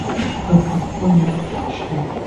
франкофония подключи